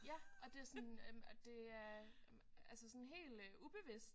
Ja og det sådan øh og det er altså sådan helt ubevidst